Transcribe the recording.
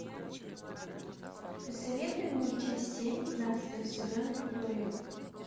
посоветуй мне часть семь пятнадцатого сезона виктория